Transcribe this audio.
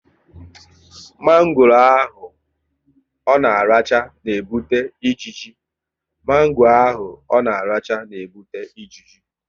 Mango ahụ ọ na-aracha n'ebute ijiji